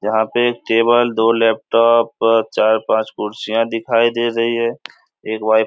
जहाँ पे टेबल दो लैपटॉप चार-पांच कुर्सियाँ दिखाई दे रही है एक वाई --